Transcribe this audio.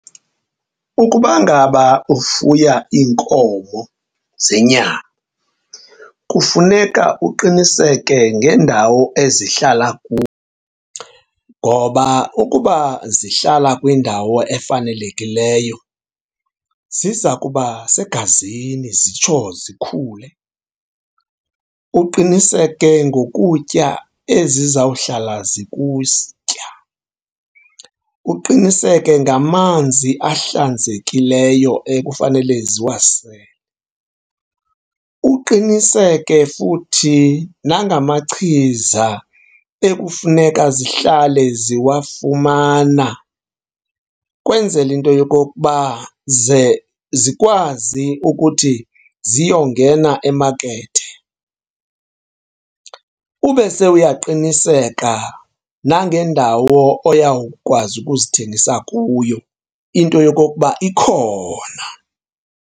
Ukuba ngaba ufuya iinkomo zenyama kufuneka uqiniseke ngeendawo ezihlala kuyo ngoba ukuba zihlala kwindawo efanelekileyo ziza kuba segazini zitsho zikhule. Uqiniseke ngokutya ezizawuhlawula . Uqiniseke ngamanzi ahlanzekileyo ekufanele ziwasele. Uqiniseke futhi nangamachiza ekufuneka zihlale ziwafumana ukwenzela into yokokuba ze zikwazi ukuthi ziyongena emakethe. Ube sewuyaqiniseka nangendawo oyawukwazi ukuzithengisa kuyo into yokokuba ikhona.